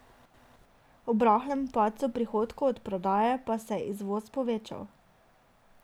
Ob rahlemu padcu prihodkov od prodaje pa se je izvoz povečal.